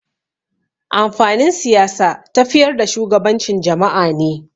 Amfanin Siyasa tafiyar da shugabancin jama'a ne.